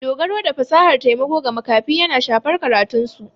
Dogaro da fasahar taimako ga makafi yana shafar karatunsu.